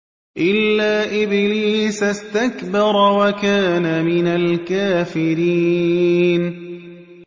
إِلَّا إِبْلِيسَ اسْتَكْبَرَ وَكَانَ مِنَ الْكَافِرِينَ